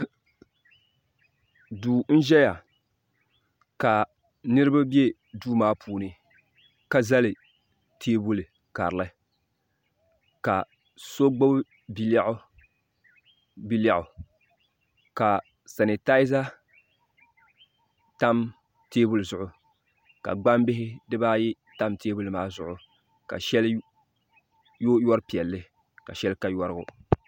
do n ʒɛya ka niribabɛ do maa puuni ka zali tɛbuli karili ka so gbabi bia lɛɣigu ka sanitayiza tam tɛbuli zuɣ ka gbabihi di baayi tam tɛbili maa zuɣ ka shɛli yu yuripiɛli ka shɛli ka yurigu